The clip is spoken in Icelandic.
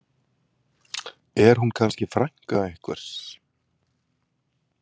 Er hún kannski frænka einhvers?